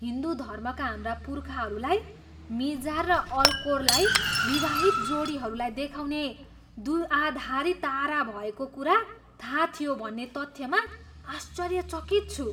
हिन्दू धर्मका हाम्रा पुर्खाहरूलाई मिजार र अल्कोरलाई विवाहित जोडीहरूलाई देखाउने द्विआधारी तारा भएको कुरा थाहा थियो भन्ने तथ्यमा आश्चर्यचकित छु।